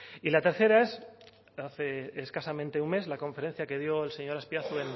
y la tercera es hace escasamente un mes la conferencia que dio el señor azpiazu